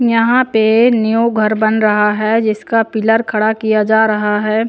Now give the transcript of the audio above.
यहाँ पे न्यू घर बन रहा है जिसका पिलर खड़ा किया जा रहा है।